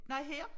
Nej her